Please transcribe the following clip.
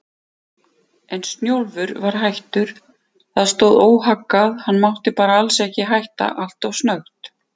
En Snjólfur var hættur, það stóð óhaggað, hann mátti bara ekki hætta alltof snöggt.